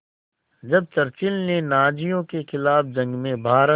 जब चर्चिल ने नाज़ियों के ख़िलाफ़ जंग में भारत